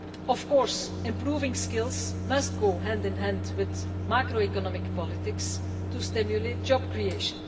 Of course improving skills must go hand in hand with macroeconomic politics to stimulate job creation.